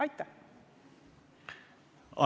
Aitäh!